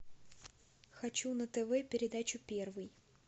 хочу на тв передачу первый